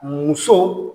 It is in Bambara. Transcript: Muso